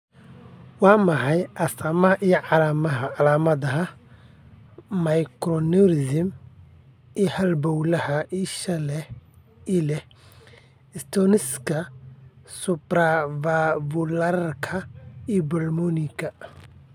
Waa maxay astamaha iyo calaamadaha macroaneurysm halbowlaha isha ee leh stenosiska supravvalvularka pulmonika?